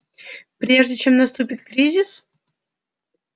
прежде чем наступит кризис